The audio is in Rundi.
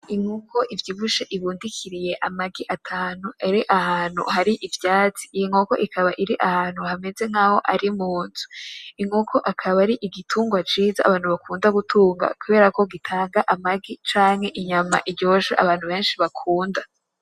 Inkoko ivyibushe ibundikiriye amagi atanu, iri ahantu hari ivyatsi, inkoko ikaba iri ahantu hameze nkaho ari mu nzu, inkoko ikaba ari igitugwa ciza abantu bakunda gutunga kubera ko gitanga amagi canke inyama iryoshe abantu benshi bakunda.